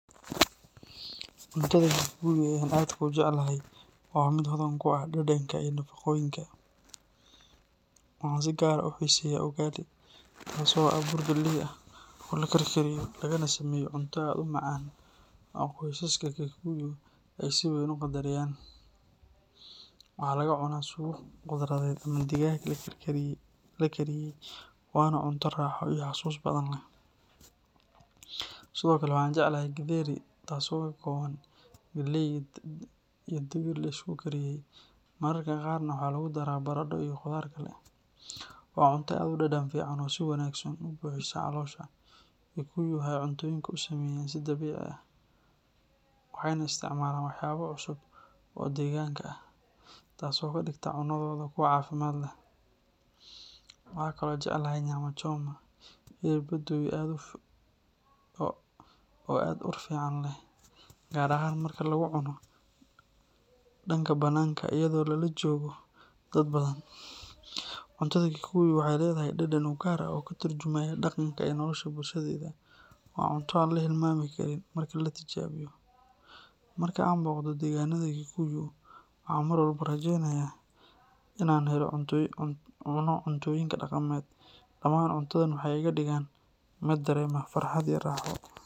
Cuntada Kikuyu ee aan aadka u jeclahay waa mid hodan ku ah dhadhanka iyo nafaqooyinka. Waxaan si gaar ah u xiiseeyaa ugali, taas oo ah bur galley ah oo la karkariyo lagana sameeyo cunto aad u macaan oo qoysaska Kikuyu ay si weyn u qadariyaan. Waxaa lagu cunaa suugo khudradeed ama digaag la kariyey, waana cunto raaxo iyo xasuus badan leh. Sidoo kale, waxaan jecelahay githeri, taasoo ka kooban galley iyo digir la isku kariyey, mararka qaarna waxaa lagu darraa baradho iyo khudaar kale. Waa cunto aad u dhadhan fiican oo si wanaagsan u buuxisa caloosha. Kikuyu waxay cuntooyinka u sameeyaan si dabiici ah, waxayna isticmaalaan waxyaabo cusub oo deegaanka ah, taasoo ka dhigta cunnadooda kuwo caafimaad leh. Waxaan kaloo jeclahay nyama choma, hilib la dubay oo aad u ur fiican leh, gaar ahaan marka lagu cuno dhanka bannaanka iyadoo lala joogo dad badan. Cuntada Kikuyu waxay leedahay dhadhan u gaar ah oo ka tarjumaya dhaqanka iyo nolosha bulshadeeda. Waa cunto aan la hilmaami karin marka la tijaabiyo. Marka aan booqdo degaannada Kikuyu, waxaan mar walba rajaynayaa in aan helo fursad aan ku cuno cuntooyinkooda dhaqameed. Dhamaan cuntadooda waxay iga dhigaan mid dareema farxad iyo raaxo.